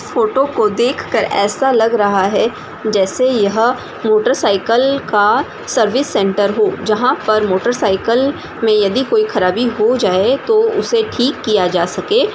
Photo देख कर ऐसा लग रहा है जैसे यह मोटर साइकल का सर्विस सेंटर हो मोटर साइकल में कोई खराबी हो जाए तो उसे ठीक किया जा सके।